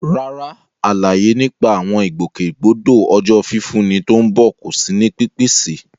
Rárá, àlàyé nípa àwọn ìgbòkègbodò Ọjọ́ Fífúnni tó ń bọ̀ kò sí ní pípèsè.